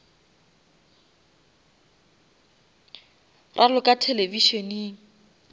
raloka televišeneng